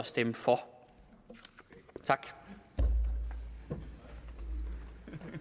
stemme for tak for